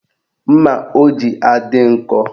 Mma o ji adị nkọ?